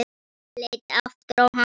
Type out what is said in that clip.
Ég leit aftur á hana.